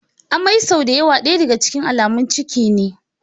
Amai sau da yawa daya daga cikin alamun ciki ne.